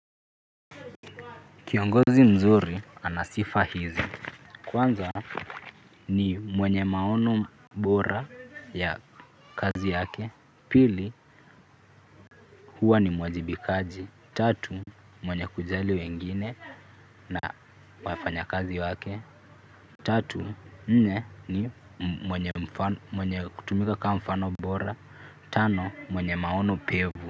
Kiongozi mzuri ana sifa hizi. Kwanza ni mwenye maono bora ya kazi yake. Pili huwa ni mwajibikaji. Tatu mwenye kujali wengine na wafanyakazi wake. Tatu nne ni mwenye mfano mwenye kutumika kama mfano bora. Tano, mwenye maono pevu.